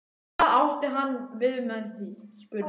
Hvað átti hann við með því? spurði hann.